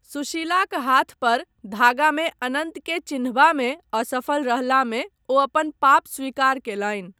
सुशीलाक हाथ पर धागामे अनन्तक चिन्हबामे असफल रहलामे ओ अपन पाप स्वीकार कयलनि।